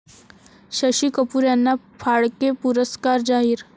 शशी कपूर यांना फाळके पुरस्कार जाहीर